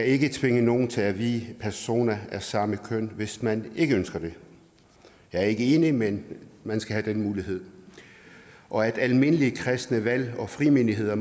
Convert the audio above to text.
ikke tvinger nogen til at vie personer af samme køn hvis man ikke ønsker det jeg er ikke enig men man skal have den mulighed og at almindelige kristne valg og frimenigheder